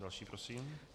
Další prosím.